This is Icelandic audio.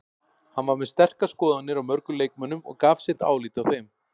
Hann var með sterkar skoðanir á mörgum leikmönnum og gaf sitt álit á þeim.